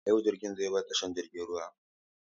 A yau jirgin zai bar tashar jiragen ruwa.